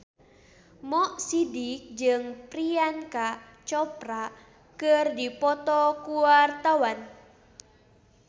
Mo Sidik jeung Priyanka Chopra keur dipoto ku wartawan